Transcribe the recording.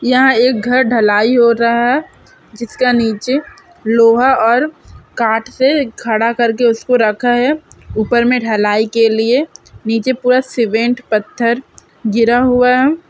यहाँ एक घर ढलाई हो रहा है। जिसका नीचे लोहा और काट से खड़ा करके उसको रखा है। ऊपर में ढलाई के लिए नीचे पूरा सिमेंट पत्थर गिरा हुआ है।